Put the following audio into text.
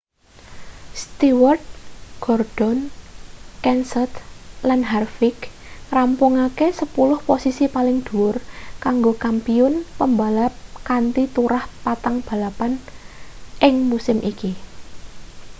stewart gordon kenseth lan harvick ngrampungake sepuluh posisi paling dhuwur kanggo kampiyun pembalap kanthi turah patang balapan ing musim iki